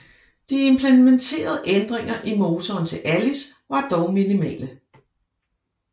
De implementerede ændringer i motoren til Alice var dog minimale